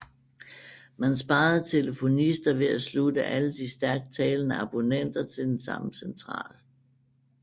Man sparede telefonister ved at slutte alle de stærkt talende abonnenter til den samme central